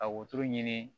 Ka wotoro ɲini